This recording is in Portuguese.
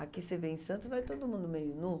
Aqui você vem em Santos e vai todo mundo meio nu.